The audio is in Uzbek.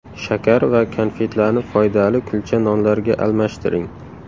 Shakar va konfetlarni foydali kulcha nonlarga almashtiring.